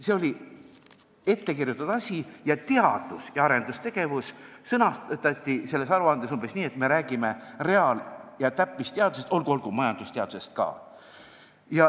See oli ettekirjutatud asi ning teadus- ja arendustegevus sõnastati selles aruandes umbes nii, et me räägime reaal- ja täppisteadustest, olgu, majandusteadusest ka.